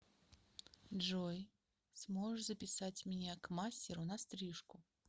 джой сможешь записать меня к мастеру на стрижку